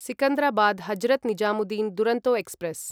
Secunderabad Hazrat Nizamuddin Duronto express